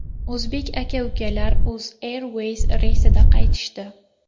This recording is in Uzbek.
O‘zbek aka-ukalar UzAirways reysida qaytishdi.